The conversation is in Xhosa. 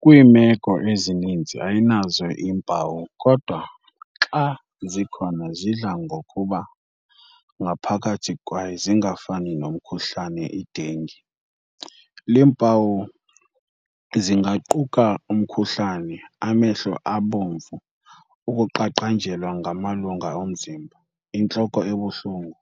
Kwiimeko ezininzi ayinazo iimpawu, kodwa xa zikhona zidla ngokuba ngaphakathi kwaye zingafana nomkhuhlane i-dengue. Iimpawu zingaquka umkhuhlane, amehlo abomvu, ukuqaqanjelwa ngamalungu omzimba, intloko ebuhlungu,